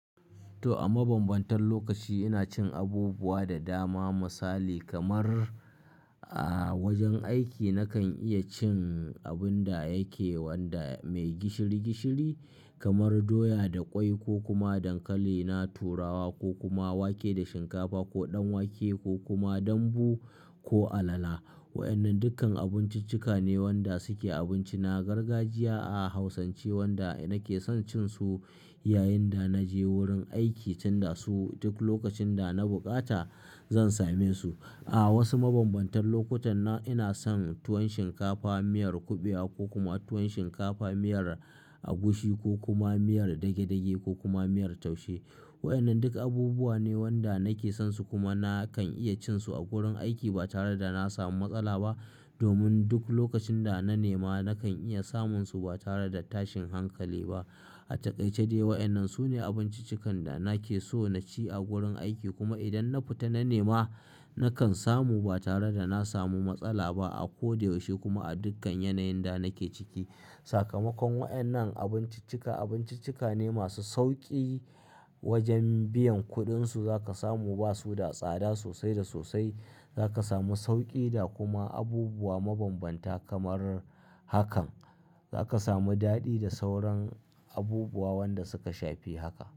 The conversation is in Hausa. To a mabambantan lokaci ina cin abubuwa da dama misali kamar a wajen aiki na kan iya cin abin da yake wanda mai gishiri gishiri kamar doya da kwai ko kuma dankali, na turawa ko kuma wake da shinkafa ko ɗanwake ko kuma dambu ko alala. Wa'yannan dukkan abinciccika ne wanda suke abinci. Na gargajiya a hausance wanda nake son cin su yayin da naje wurin aiki cin da su duk lokacin da na bukata zan same su. A wasu mabambantan lokutan nan ina son tuwon shinkafa miyar kuɓewa ko kuma tuwon shinkafa miyar agushi ko kuma miyar dage-dage ko kuma miyar taushe. Wa'yannan duk abubuwa ne wanda nake son su kuma na kan iya cin su a gurin aiki ba tare da na samu matsala ba domin duk lokacin da na nema na kan iya samun su ba tare da tashin hankali ba. A takaice dai wa'yannan su ne abinciccikan da nake so na ci a gurin aiki kuma idan na fita na nema na kan samu ba tare da na samu matsala ba a ko da yaushe kuma a dukkan yanayin da nake ciki. Sakamakon wa'yannan abinciccika abinciccika ne masu sauki wajen biyan kuɗin su za ka samu ba su da tsada sosai da sosai. Za ka samu sauƙi da kuma abubuwa mabambanta kamar hakan. Za ka samu daɗi da sauran abubuwa wanda suka shafi haka.